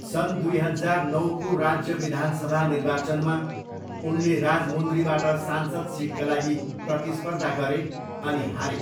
सन् दुई हजार नौको राज्य विधानसभा निर्वाचनमा उनले राजमुन्द्रीबाट सांसद सिटका लागि प्रतिस्पर्धा गरे अनि हारे।